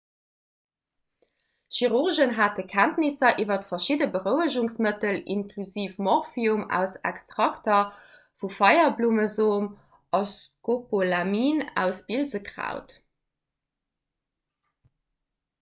chirurgen hate kenntnisser iwwer verschidde berouegungsmëttel inklusiv morphium aus extrakter vu feierblummesom a scopolamin aus bilsekraut